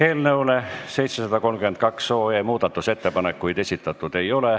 Eelnõu 732 kohta muudatusettepanekuid esitatud ei ole.